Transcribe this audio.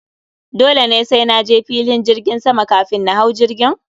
Dole ne sai naje filin jirgin sama kafin na hau jirgin?